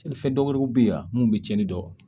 fɛn dɔw wɛrɛw bɛ yan mun bɛ tiɲɛni dɔn